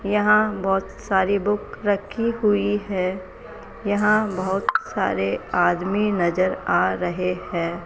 यहां बहुत सारी बुक रखी हुई है यहां बहुत सारे आदमी नजर आ रहे हैं।